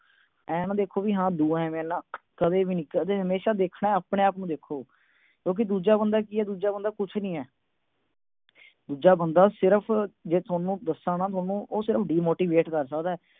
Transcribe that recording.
ਆਏ ਨਾ ਦੇਖੋ ਵੀ ਦੂਆ ਆਏ ਆ, ਨਾ, ਕਦੇ ਵੀ ਦੇਖਣਾ ਹਮੇਸ਼ਾ ਆਪਣੇ-ਆਪ ਨੂੰ ਦੇਖੋ ਕਿਉਂਕਿ ਦੂਜਾ ਬੰਦਾ ਕੀ ਆ, ਦੂਜਾ ਬੰਦਾ ਕੁਛ ਨਹੀਂ ਆ। ਦੂਜਾ ਬੰਦਾ ਸਿਰਫ, ਜੇ ਦੱਸਾ ਨਾ ਤੁਹਾਨੂੰ, ਉਹ ਸਿਰਫ demotivate ਕਰ ਸਕਦਾ।